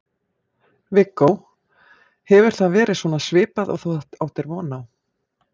Viggó: og hefur það verið svona svipað og þú áttir von á?